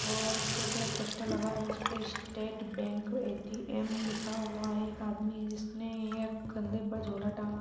और उसके ऊपर एक पोस्टर लगा है उसपे स्टेट बैंक ए_टी_एम लिखा हुआ है एक आदमी है जिसने एक कंधे पर झोला टांगा।